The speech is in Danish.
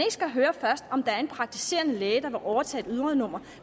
skal høre om der er en praktiserende læge der vil overtage et ydernummer